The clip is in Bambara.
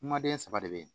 Kumaden saba de bɛ yen